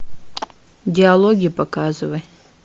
диалоги показывай